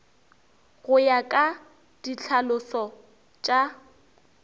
go ya ka ditlhalošo tša